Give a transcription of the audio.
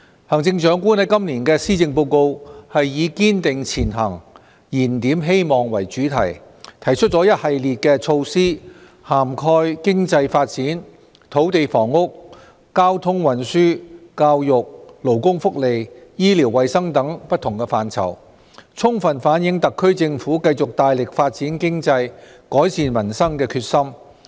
行政長官在今年的施政報告以"堅定前行燃點希望"為主題，提出了一系列的措施，涵蓋經濟發展、土地房屋、交通運輸、教育、勞工福利、醫療衞生等不同範疇，充分反映特區政府繼續大力發展經濟，改善民生的決心。